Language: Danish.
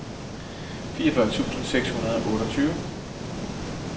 fireogfyrre tusind seks hundrede og otteogtyve